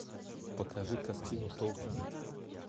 покажи картину толкин